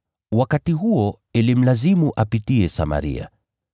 Wakati huo ilimlazimu apitie Samaria.